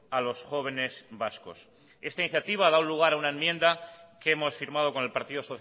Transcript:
a los jóvenes vascos esta iniciativa ha dado lugar a una enmienda que hemos firmado con el partido